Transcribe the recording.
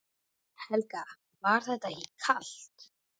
Helga: Var þetta ekki kalt?